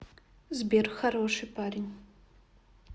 сбер хороший парень